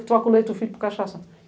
Que troca o leite do filho por cachaça.